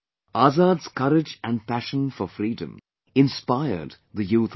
Azad's courage and passion for freedom inspired the youth of the day